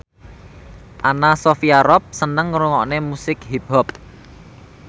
Anna Sophia Robb seneng ngrungokne musik hip hop